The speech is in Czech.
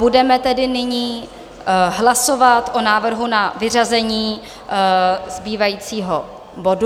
Budeme tedy nyní hlasovat o návrhu na vyřazení zbývajícího bodu.